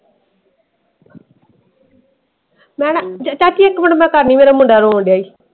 ਮੈਂ ਨਾ ਚਾਚੀ ਇਕ ਮਿੰਟ ਕਰਦੀ ਆ ਮੇਰਾ ਮੁੰਡਾ ਰੋਣ ਡਆ ਏ।